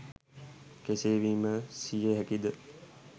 කෙසේ විමසිය හැකිද?